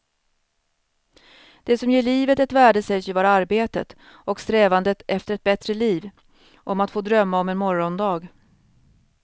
Det som ger livet ett värde sägs ju vara arbetet och strävandet efter ett bättre liv, om att få drömma om en morgondag.